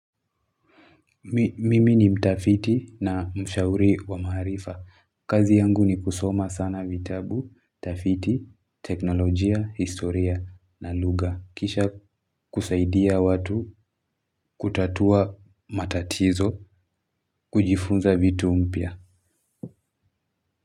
Mimi ni mtafiti na mshauri wa maarifa. Kazi yangu ni kusoma sana vitabu, tafiti, teknolojia, historia na lugha. Kisha kusaidia watu kutatua matatizo kujifunza vitu mpya.